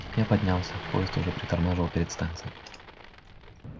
я поднялся поезд уже притормаживал перед станцией